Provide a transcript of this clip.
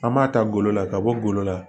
An m'a ta golo la ka bɔ golo la